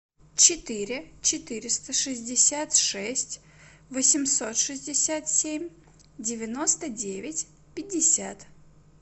четыре четыреста шестьдесят шесть восемьсот шестьдесят семь девяносто девять пятьдесят